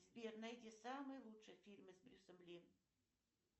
сбер найди самые лучшие фильмы с брюсом ли